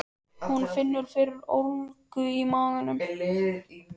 Hún finnur fyrir ólgu í maganum.